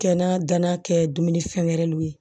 Kɛnɛ danna kɛ dumuni fɛn wɛrɛw ye